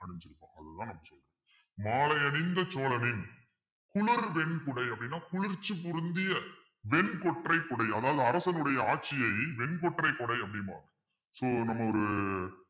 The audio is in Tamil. அணிச்சிருப்பான் அதுதான் மாலை அணிந்த சோழனின் குளர் வெண்குடை அப்படின்னா குளிர்ச்சி பொருந்திய வெண் கொற்றை குடை அதாவது அரசனுடைய ஆட்சியை வெண்கொற்றை குடை அப்படிம்பாங்க so நம்ம ஒரு